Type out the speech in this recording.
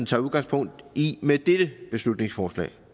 tager udgangspunkt i med dette beslutningsforslag